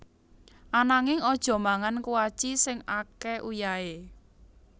Ananging aja mangan kuaci sing ake uyahe